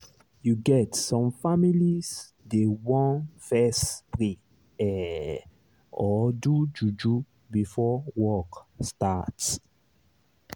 you get some families dey want fess pray ehh or do juju before work start